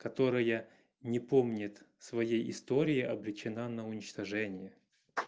которая не помнит своей истории обречена на уничтожение